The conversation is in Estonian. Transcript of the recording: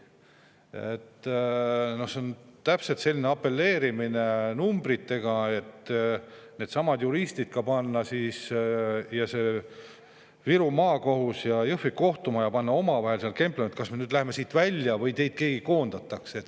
No see on täpselt selline apelleerimine numbritele, et panna needsamad juristid Viru Maakohtus omavahel kemplema: kas te lähete Jõhvi kohtumajast välja või teist keegi koondatakse.